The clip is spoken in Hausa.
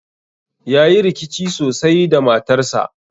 Yayi rikici sosai da matarsa